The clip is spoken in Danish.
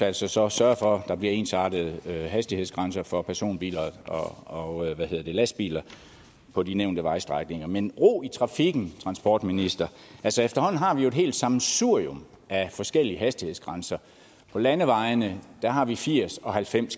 altså så sørge for at der bliver ensartede hastighedsgrænser for personbiler og lastbiler på de nævnte vejstrækninger men ro i trafikken transportminister efterhånden har vi jo et helt sammensurium af forskellige hastighedsgrænser på landevejene har vi firs og halvfems